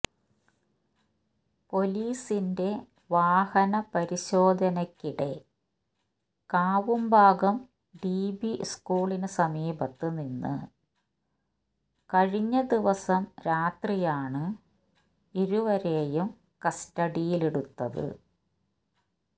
പൊലീസിന്റെ വാഹന പരിശോധനക്കിടെ കാവുംഭാഗം ഡിബി സ്കൂളിന് സമീപത്ത് നിന്ന് കഴിഞ്ഞ ദിവസം രാത്രിയാണ് ഇരുവരെയും കസ്റ്റഡിയിലെടുത്തത്